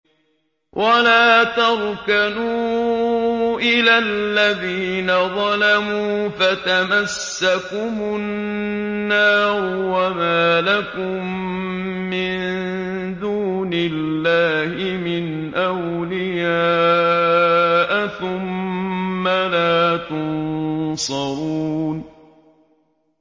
وَلَا تَرْكَنُوا إِلَى الَّذِينَ ظَلَمُوا فَتَمَسَّكُمُ النَّارُ وَمَا لَكُم مِّن دُونِ اللَّهِ مِنْ أَوْلِيَاءَ ثُمَّ لَا تُنصَرُونَ